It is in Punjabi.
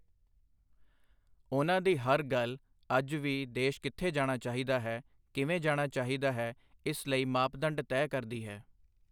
ਉਨ੍ਹਾਂ ਦੀ ਹਰ ਗੱਲ ਅੱਜ ਵੀ ਦੇਸ਼ ਕਿੱਥੇ ਜਾਣਾ ਚਾਹੀਦਾ ਹੈ, ਕਿਵੇਂ ਜਾਣਾ ਚਾਹੀਦਾ ਹੈ, ਇਸ ਲਈ ਮਾਪਦੰਡ ਤੈਅ ਕਰਦੀ ਹੈ।